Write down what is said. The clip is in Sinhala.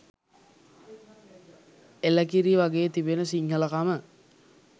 එළකිරි වගෙ තිබෙන සිංහලකම